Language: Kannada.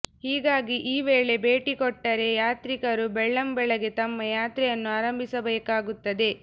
ಹೀಗಾಗಿ ಈ ವೇಳೆ ಭೇಟಿ ಕೊಟ್ಟರೆ ಯಾತ್ರಿಕರು ಬೆಳ್ಳಂಬೆಳಗ್ಗೆ ತಮ್ಮ ಯಾತ್ರೆಯನ್ನು ಆರಂಭಿಸಬೇಕಾಗುತ್ತದೆ